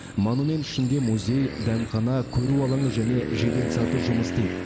монумент ішінде музей дәмхана көру алаңы және жеделсаты жұмыс істейді